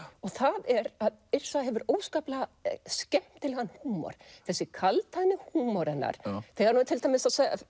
það er að Yrsa hefur óskaplega skemmtilegan húmor þessi kaldhæðni húmor hennar þegar hún er til dæmis að